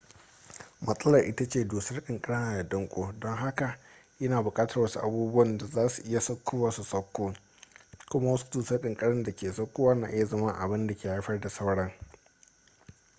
matsalar ita ce dusar ƙanƙara na da danko don haka yana buƙatar wasu abubuwan da za su iya saukowa su sauko kuma wasu dusar ƙanƙara da ke saukowa na iya zama abin da ke haifar da sauran